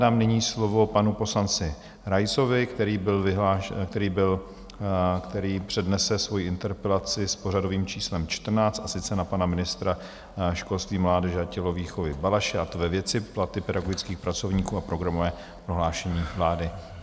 Dám nyní slovo panu poslanci Raisovi, který přednese svoji interpelaci s pořadovým číslem 14, a sice na pana ministra školství, mládeže a tělovýchovy Balaše, a to ve věci Platy pedagogických pracovníků a programové prohlášení vlády.